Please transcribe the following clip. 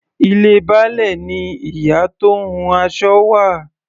Ilé Baálẹ̀ ni ìyá tó ń hun aṣọ wà.